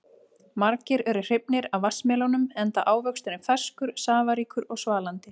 Margir eru hrifnir af vatnsmelónum enda ávöxturinn ferskur, safaríkur og svalandi.